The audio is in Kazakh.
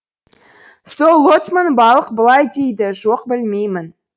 сол лоцман балық былай дейді жоқ білмеймін